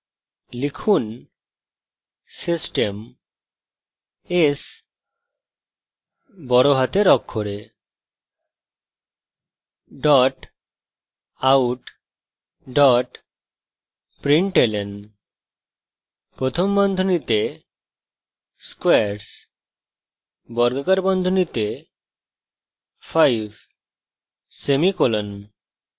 লিখুন system s capital out println squares 5;